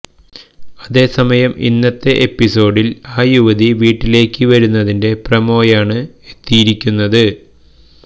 അതേസമയം ഇന്നത്തെ എപിസോഡില് ആ യുവതി വീട്ടിലേക്ക് വരുന്നതിന്റെ പ്രമോയാണ് എത്തിയിരിക്കുന്നത്